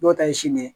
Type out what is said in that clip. Dɔw ta ye sini ye